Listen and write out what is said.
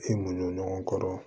I mu don ɲɔgɔn kɔrɔ